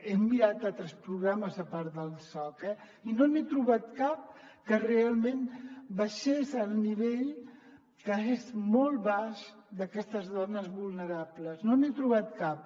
he mirat altres programes a part del soc eh i no n’he trobat cap que realment baixés al nivell que és molt baix d’aquestes dones vulnerables no n’he trobat cap